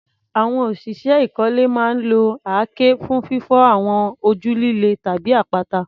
Àwọn òṣìṣẹ́ ìkọ́lé máa ń lo àáké fún fífọ́ àwọn ojú líle tàbí àpáta.